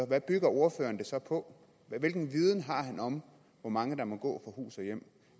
hvad bygger ordføreren det så på hvilken viden har han om hvor mange der må gå hus og hjem